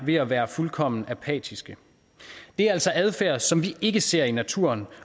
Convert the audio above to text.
ved at være fuldkommen apatiske det er altså adfærd som vi ikke ser i naturen